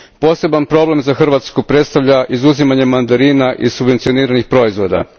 Poseban problem za Hrvatsku predstavlja izuzimanje mandarina iz subvencioniranih proizvoda.